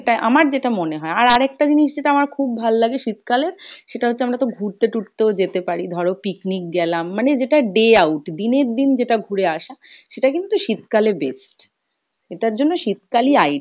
আমার যেটা মনে হয়, আর আরেকটা জিনিস যেটা আমার খুব ভাল লাগে শীতকালের সেটা হচ্ছে আমরা তো ঘুড়তে তুরতেও যেতে পারি। ধরো picnic গেলাম মানে যেটা day out, দিনের দিন যেটা ঘুরে আসা সেটা কিন্তু শীতকালে best, এটার জন্য শীতকালই